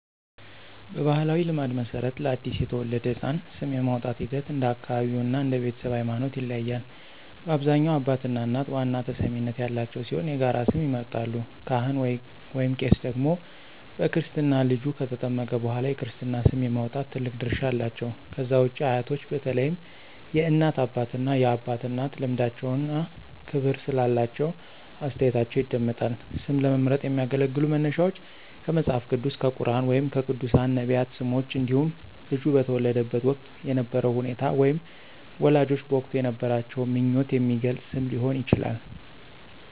በባሕላዊ ልማድ መሠረት፣ ለአዲስ የተወለደ ሕፃን ስም የማውጣቱ ሂደት እንደ አካባቢው እና እንደ ቤተሰቡ ሃይማኖት ይለያያል። በአብዛኛው አባትና እናት ዋና ተሰሚነት ያላቸው ሲሆን የጋራ ስም ይመርጣሉ። ካህን/ቄስ ደግሞ በክርስትና ልጁ ከተጠመቀ በኋላ የክርስትና ስም የማውጣት ትልቅ ድርሻ አላቸው። ከዛ ውጪ አያቶች በተለይም የእናት አባትና የአባት እናት ልምዳቸውና ክብር ስላላቸው አስተያየታቸው ይደመጣል። ስም ለመምረጥ የሚያገለግሉ መነሻዎች ከመጽሐፍ ቅዱስ፣ ከቁርኣን ወይም ከቅዱሳን/ነቢያት ስሞች እንዲሁም ልጁ በተወለደበት ወቅት የነበረውን ሁኔታ ወይም ወላጆች በወቅቱ የነበራቸውን ምኞት የሚገልጽ ስም ሊሆን ይችላል።